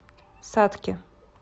сатки